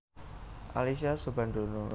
Alyssa Soebandono